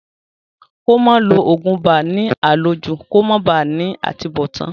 Kí ó máa lo ògùn ibà ní àlòjù kí ó máa ba à ní àtúnbọ̀tán